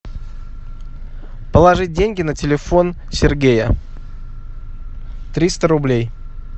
положить деньги на телефон сергея триста рублей